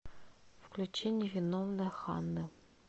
включи невиновная ханны